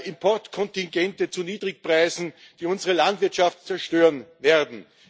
Importkontingente zu Niedrigpreisen, die unsere Landwirtschaft zerstören werden.